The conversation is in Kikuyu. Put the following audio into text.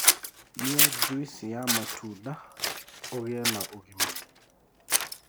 Nyua jũĩsĩ ya matunda ũgĩe ũgima